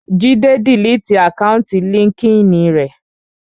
Jídé diliti àkáùntì líńki-inì rẹ̀